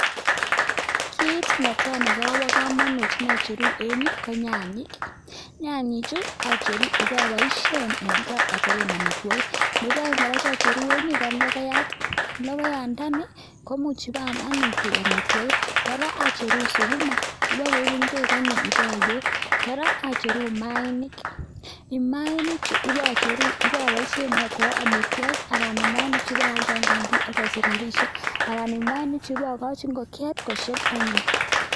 Kit netai nebo kamanut eng yu ko nyanyek, nyanyechu acheru iboboishen achobe amitwogik nebo aeng kora eng yu cheacheru eng yu ko logoiyat logoiyandani komuch koek amitwogik kora acheru sukuma bo koeku kwek anyun kora acheru mayainik, mayainichu ko bo boishen ko amitwogik anan mayainichu ibaalde eng kantin ak asich rabiishek anan mayainichu bokochi ingokiet kosheb anyun.